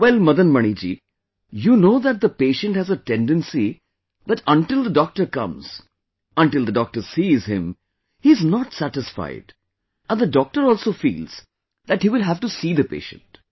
Well Madan Mani ji, you know that the patient has a tendency that until the doctor comes; until the doctor sees him; he is not satisfied and the doctor also feels that he will have to see the patient